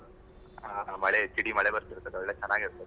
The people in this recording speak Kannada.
ಮಳೆ ಜಿಡಿ ಮಳೆ ಬರ್ತಿರ್ತದೆ ಒಳ್ಳೆ ಚನ್ನಾಗಿರ್ತದೆ.